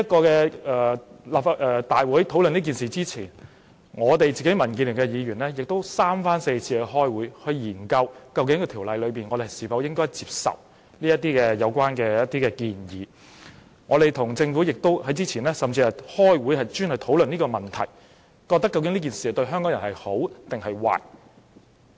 在大會討論《條例草案》之前，民建聯的議員亦三番四次開會，研究我們應否接受《條例草案》的一些建議，我們之前甚至與政府開會，專門討論這個問題，研究這樣做對香港人孰好孰壞。